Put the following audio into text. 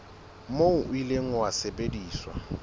moo o ile wa sebediswa